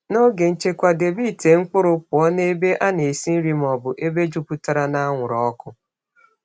N’oge nchekwa, debe ite mkpụrụ pụọ na ebe a na-esi nri ma ọ bụ ebe jupụtara n’anwụrụ ọkụ.